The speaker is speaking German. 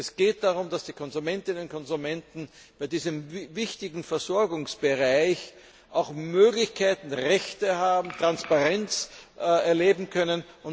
Es geht darum, dass die Konsumentinnen und Konsumenten bei diesem wichtigen Versorgungsbereich auch Möglichkeiten und Rechte haben und Transparenz erleben können.